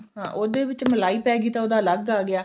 ਹਾਂ ਉਹਦੇ ਵਿੱਚ ਮਲਾਈ ਪੈ ਗਈ ਤੇ ਉਹਦਾ ਅਲੱਗ ਆ ਗਿਆ